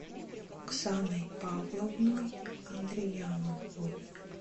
оксаной павловной андрияновой